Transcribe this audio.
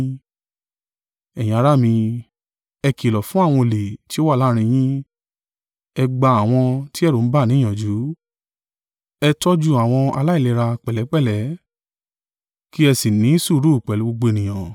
Ẹ̀yin ará mi, ẹ kìlọ̀ fún àwọn ọ̀lẹ ti ó wà láàrín yín, ẹ gba àwọn tí ẹ̀rù ń bà ní ìyànjú, ẹ tọ́jú àwọn aláìlera pẹ̀lẹ́pẹ̀lẹ́, kí ẹ sì ní sùúrù pẹ̀lú gbogbo ènìyàn.